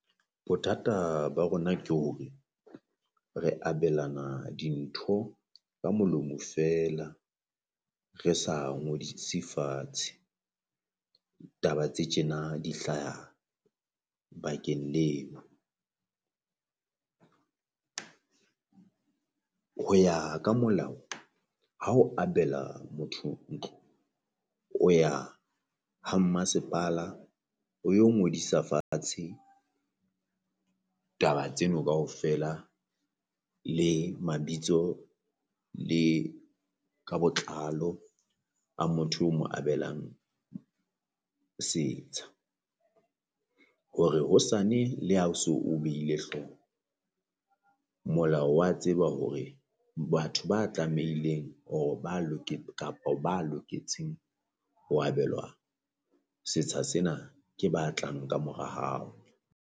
Bothata ba rona ke hore re abelana dintho ka molomo feela re sa ngodise fatshe, taba tse tjena di hlaha bakeng leno. Ho ya ka molao ha o abela motho ntlo o ya ha mmasepala o yo ngodisa fatshe taba tseno kaofela le mabitso le ka botlalo a motho o mo abelang setsha. Hore hosane la ha o so behile hlooho molao wa tseba hore batho ba tlameileng or-re ba kapo ba loketseng ho abelwa setsha sena ke ba tlang kamora hao.